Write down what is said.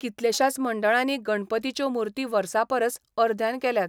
कितलेशाच मंडळांनी गणपतीच्यो मूर्ती वर्सापरस अर्ध्यान केल्यात.